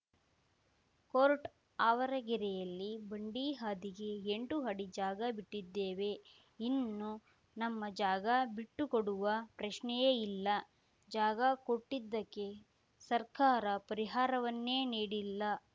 court ಆವರಗೆರೆಯಲ್ಲಿ ಬಂಡಿ ಹಾದಿಗೆ ಎಂಟು ಅಡಿ ಜಾಗ ಬಿಟ್ಟಿದ್ದೇವೆ ಇನ್ನು ನಮ್ಮ ಜಾಗ ಬಿಟ್ಟು ಕೊಡುವ ಪ್ರಶ್ನೆಯೇ ಇಲ್ಲ ಜಾಗ ಕೊಟ್ಟಿದ್ದಕ್ಕೆ ಸರ್ಕಾರ ಪರಿಹಾರವನ್ನೇ ನೀಡಿಲ್ಲ